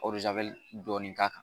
dɔɔni k'a kan.